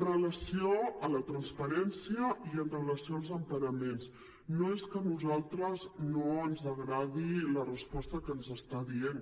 amb relació a la transparència i amb relació als emparaments no és que a nosaltres no ens agradi la resposta que ens està dient